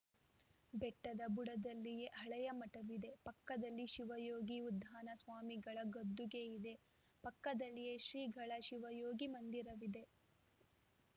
ಬೆಟ್ಟದ ಬುಡದಲ್ಲಿಯೇ ಹಳೆಯ ಮಠವಿದೆ ಪಕ್ಕದಲ್ಲಿ ಶಿವಯೋಗಿ ಉದ್ದಾನ ಸ್ವಾಮಿಗಳ ಗದ್ದುಗೆಯಿದೆ ಪಕ್ಕದಲ್ಲಿಯೇ ಶ್ರೀಗಳ ಶಿವಯೋಗಿ ಮಂದಿರವಿದೆ